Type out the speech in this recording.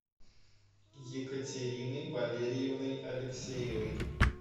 екатериной валерьевной алексеевой